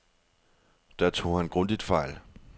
Der tog han grundigt fejl.